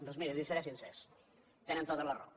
doncs miri els seré sincer tenen tota la raó